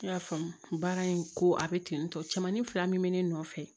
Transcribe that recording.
Ne y'a faamu baara in ko a bɛ ten tɔ cɛmanin fila min bɛ ne nɔfɛ